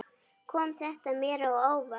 Kom þetta mér á óvart?